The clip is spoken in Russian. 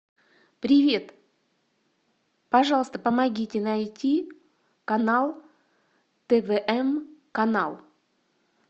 привет пожалуйста помогите найти канал твм канал